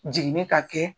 Jiginni ka kɛ